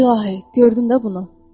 İlahi, gördün də bunu?